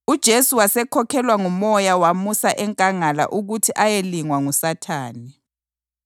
UJesu wasekhokhelwa nguMoya wamusa enkangala ukuthi ayelingwa nguSathane.